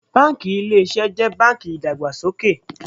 Báńkì Ilé Iṣẹ́ jẹ́ báńkì ìdàgbàsókè.